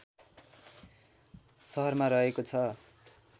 सहरमा रहेको छ